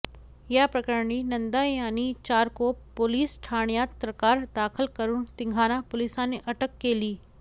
या प्रकरणी नंदा यांनी चारकोप पोलीस ठाण्यात तक्रार दाखल करून तिघांना पोलिसांनी अटक केली